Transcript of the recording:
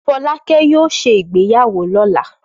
Fọlákẹ́ yóò ṣe ìgbéyàwó lọ́la.